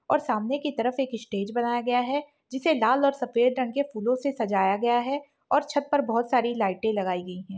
और सामने की तरफ एक इस स्टेज बनाया गया है जिसे लाल और सफेद रंग के फूलों से सजाया गया है और छत पर बोहोत सारी लाइटे